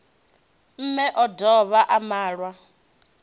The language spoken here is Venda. mme o dovha a malwa